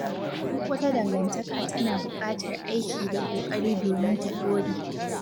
Duk wata dangantaka tana buƙatar aiki da ƙoƙari domin ta ɗore.